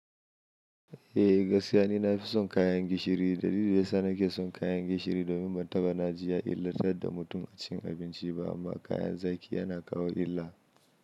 Eh, gaskiya ne na fi son kayan gishiri. Dalilin da ya sa na ke son kayan gishiri domin ba ta bani jiya illar tar da mutum a cin abinci ba amma kayan zaki yana kawo illa.